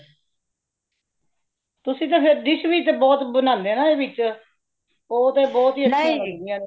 ਤੁਸੀਂ ਤੇ ਫੇਰ dish ਵੀ ਬਹੁਤ ਬਣਾਂਦੇ ਏਦੇ ਵਿਚ ,ਉਹ ਤੇ ਬਹੁਤ ਹੀ ਅਚੀਆਂ ਹੋਂਦਿਆਂ ਨੇ